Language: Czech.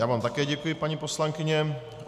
Já vám také děkuji, paní poslankyně.